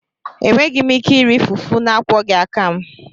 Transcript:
Enweghị m ike iri fufu na-akwọghị aka m.